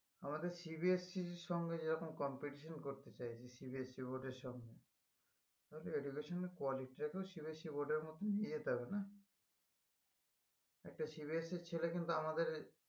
আমাদের CBSE এর সঙ্গে যেরকম competition করতে চাই CBSE board এর সঙ্গে তাতে education এর quality টা কেও CBSE board এর মত নিয়ে যেতে হবে না একটা CBSE এর ছেলে কিন্তু আমাদের